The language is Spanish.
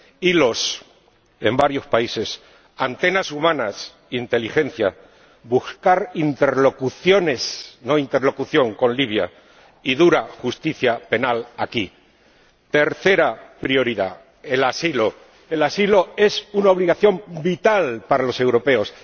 sobre Libia hilos en varios países antenas humanas inteligencia buscar interlocuciones, no interlocución, con Libia y dura justicia penal aquí. Tercera prioridad el asilo. El asilo es una obligación vital